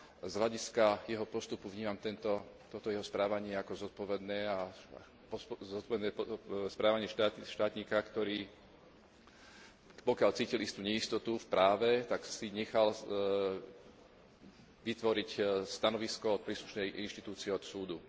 Z hľadiska jeho postupu vnímam toto jeho správanie ako zodpovedné správanie štátnika, ktorý, pokiaľ cítil istú neistotu v práve, tak si nechal vytvoriť stanovisko od príslušnej inštitúcie, od súdu.